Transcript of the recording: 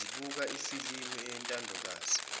zibuka ifilimu eyintandokazi